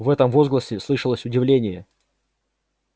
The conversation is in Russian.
в этом возгласе слышалось удивление